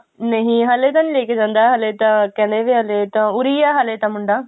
ਨਹੀਂ ਹਲੇ ਤਾਂ ਨਹੀਂ ਲੈਕੇ ਜਾਂਦਾ ਹਲੇ ਤਾਂ ਕਹਿੰਦਾ ਸੀ ਹਲੇ ਤਾਂ ਉਰੇ ਹੀ ਹੈ ਹਲੇ ਤਾਂ ਮੁੰਡਾ